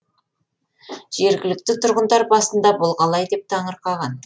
жергілікті тұрғындар басында бұл қалай деп таңырқаған